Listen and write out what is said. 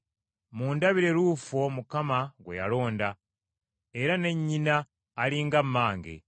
Mundabire Luufo Mukama gwe yalonda, era ne nnyina ali nga mmange.